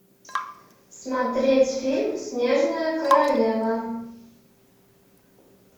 смотреть фильм снежная королева